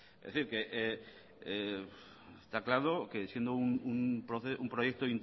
es decir está claro que siendo un proyecto